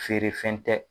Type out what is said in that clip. Feere fɛn tɛ